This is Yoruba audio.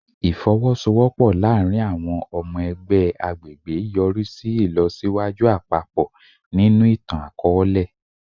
Ifowosowopo laarin awọn ọmọ ẹgbẹ agbegbe yori si ilọsiwaju apapọ ninu itan-akọọlẹ